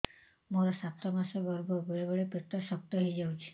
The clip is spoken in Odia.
ମୋର ସାତ ମାସ ଗର୍ଭ ବେଳେ ବେଳେ ପେଟ ଶକ୍ତ ହେଇଯାଉଛି